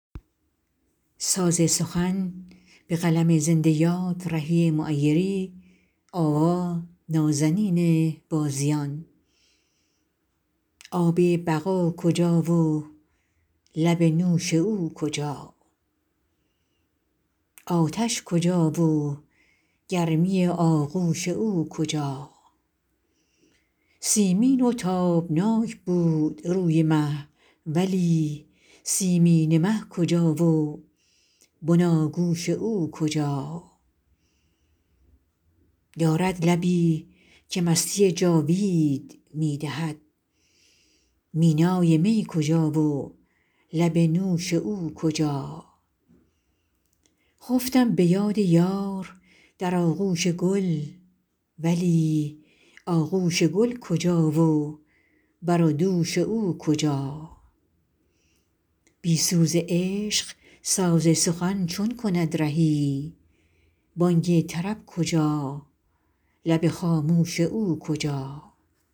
آب بقا کجا و لب نوش او کجا آتش کجا و گرمی آغوش او کجا سیمین و تابناک بود روی مه ولی سیمینه مه کجا و بناگوش او کجا دارد لبی که مستی جاوید می دهد مینای می کجا و لب نوش او کجا خفتم به یاد یار در آغوش گل ولی آغوش گل کجا و بر و دوش او کجا بی سوز عشق ساز سخن چون کند رهی بانگ طرب کجا لب خاموش او کجا